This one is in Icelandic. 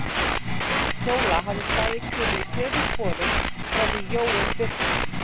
Sóla hafði staðið kyrr í sömu sporum frá því Jóel birtist.